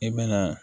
I bɛ na